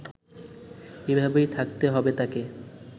এভাবেই থাকতে হবে তাকে